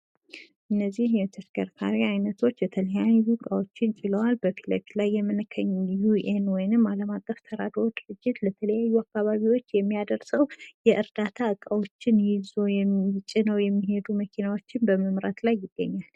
እነዚህ የተሽከርካሪ አይነቶች የተለያዩ እቃዎችን ጭነዋል በፊት ለፊት ላይ ዩኤን ወይም አለማቀፍ ተራዶ ድርጅት ለተለያዩ አካባቢዎች የሚያደርሰው የእርዳታ እቃዎችን ጭነው የሚሄዱ መኪናዎችን በመምራት ላይ ይገኛል።